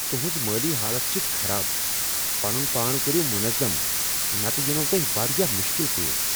تہنٛز مٲلی حالت چھ خراب۔ پنن پان کٔرِو منظم نتہٕ یِنَو تۄہِہ واریاہ مشکل پیش۔